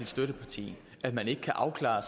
støtteparti at man ikke kan afklare